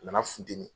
A nana funteni